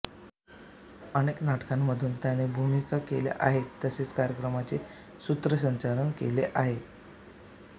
अनेक नाटकांमधूनही त्याने भूमिका केल्या आहेत तसेच कार्यक्रमांचे सूत्रसंचालन केले आहे